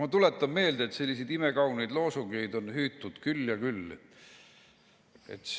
Ma tuletan meelde, et selliseid imekauneid loosungeid on hüütud küll ja küll.